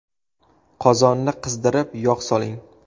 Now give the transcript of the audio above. Qozonni qizdirib, yog‘ soling.